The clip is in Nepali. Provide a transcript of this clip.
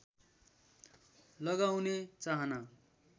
लगाउने चाहना